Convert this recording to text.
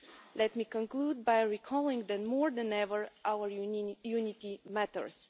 Let me conclude by recalling that, more than ever, our unity matters.